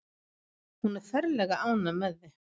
Hún er ferlega ánægð með þig.